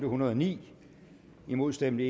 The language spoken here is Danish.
hundrede og ni imod stemte